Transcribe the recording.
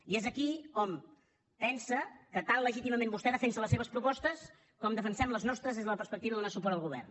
i és aquí que hom pensa que tan legítimament vostè defensa les seves propostes com defensem les nostres des de la perspectiva de donar suport al govern